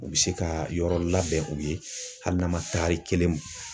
U bɛ se ka yɔrɔ labɛn u ye hali n'a ma taari kelen